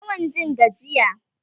Tana yawan jin gajiya